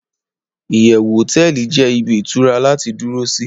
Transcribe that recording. iyewu hoteeli je ibi itura lati duro si